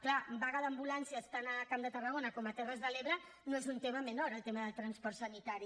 clar vaga d’ambulàncies tant al camp de tarragona com a les terres de l’ebre no és un tema menor el tema del transport sanitari